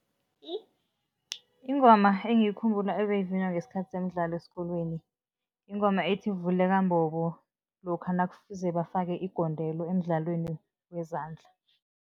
Ingoma engiyikhumbula ebeyivunywa ngesikhathi semidlalo esikolweni, yingoma ethi, vuleka mbobo, lokha nakufuze bafake igondelo emidlalweni wezandla.